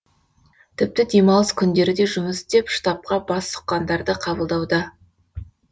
тіпті демалыс күндері де жұмыс істеп штабқа бас сұққандарды қабылдауда